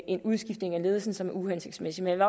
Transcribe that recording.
en udskiftning af ledelsen som er uhensigtsmæssig men